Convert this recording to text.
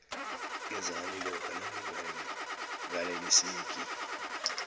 ngenzani lokha nanginganeliseki